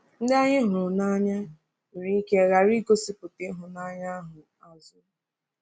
Ndị anyị hụrụ n’anya nwere ike ghara igosipụta ịhụnanya ahụ azụ.